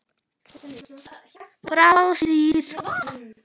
Frá síð